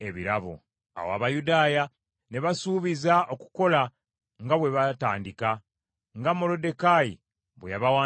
Awo Abayudaaya ne basuubiza okukola nga bwe baatandika, nga Moluddekaayi bwe yabawandiikira.